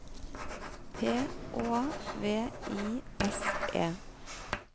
P Å V I S E